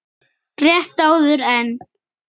Rétt áður en